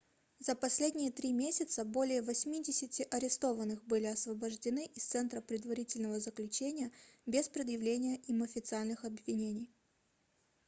за последние 3 месяца более 80 арестованных были освобождены из центра предварительного заключения без предъявления им официальных обвинений